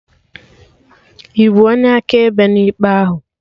Ịbụ onye akaebe na ikpe ahụ?